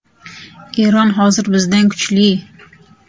Eron hozir bizdan kuchli”.